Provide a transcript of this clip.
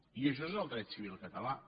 i això és el dret civil català